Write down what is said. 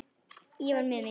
Ég var miður mín.